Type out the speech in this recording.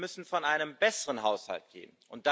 Ich finde, wir müssen von einem besseren Haushalt reden.